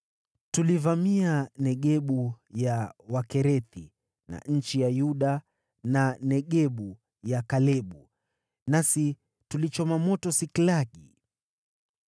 Tulivamia Negebu ya Wakerethi, na nchi ya Yuda, na Negebu ya Kalebu. Nasi tulichoma moto Siklagi.”